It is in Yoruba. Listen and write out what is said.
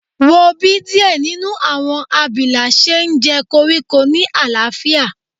Wo bi diẹ ninu awọn abila ṣe njẹ koriko ni alaafia